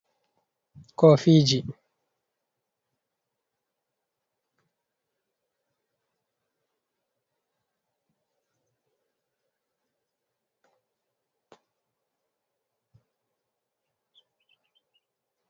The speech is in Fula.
koofiiji